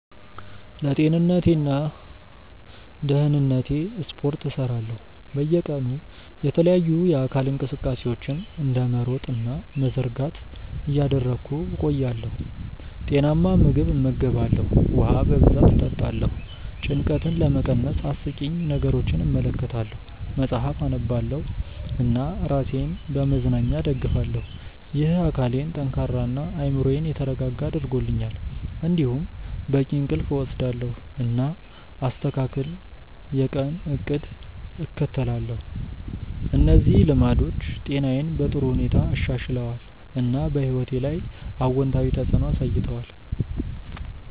ለጤንነቴና ደህንነቴ ስፖርት እሰራለሁ፣ በየቀኑ የተለያዩ የአካል እንቅስቃሴዎችን እንደ መሮጥ እና መዘርጋት እያደረግሁ እቆያለሁ። ጤናማ ምግብ እመገባለሁ፣ ውሃ በብዛት እጠጣለሁ። ጭንቀትን ለመቀነስ አስቂኝ ነገሮችን እመለከታለሁ፣ መጽሐፍ አነባለሁ እና ራሴን በመዝናኛ እደግፋለሁ። ይህ አካሌን ጠንካራ እና አእምሮዬን የተረጋጋ አድርጎኛል። እንዲሁም በቂ እንቅልፍ እወስዳለሁ፣ እና አስተካክል የቀን እቅድ እከተላለሁ። እነዚህ ልማዶች ጤናዬን በጥሩ ሁኔታ አሻሽለዋል፣ እና በሕይወቴ ላይ አዎንታዊ ተፅዕኖ አሳይተዋል።